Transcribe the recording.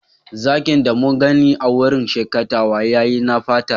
Zakin da mun gani a'wurin shakatawan ya yi na fata.